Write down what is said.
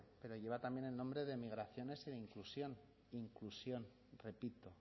pero lleva también el nombre de migraciones inclusión inclusión repito